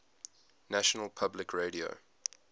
national public radio